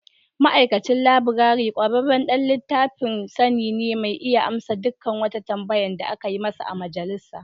Ma'aikacin laburare ƙwararren ɗan littafin sani ne mai iya amsa duk wata tambaya da aka yi musu a Majalisa.